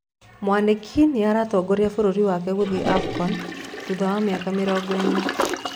Mwaniki nĩ aratongoria bũrũri wake gũthie Afcon thutha wa mĩaka mĩrongo ĩna.